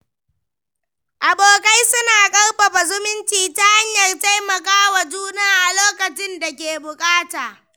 Abokai suna ƙarfafa zumunci ta hanyar taimaka wa juna a lokacin da ake buƙata.